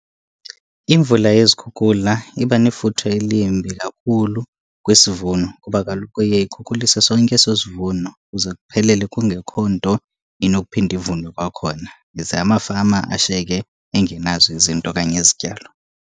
Imvula yezikhukula iba nefuthe elimbi kakhulu kwisivuno, kuba kaloku iye ikhukhulise sonke eso sivuno kuze kuphelele kungekho nto inokuphinda ivunwe kwakhona. Ize amafama ashiyeke engenazo izinto okanye izityalo.